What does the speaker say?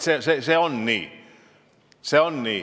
See on nii.